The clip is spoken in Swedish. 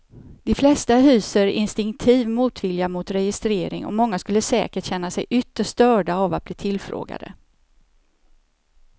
De flesta hyser instinktiv motvilja mot registrering och många skulle säkert känna sig ytterst störda av att bli tillfrågade.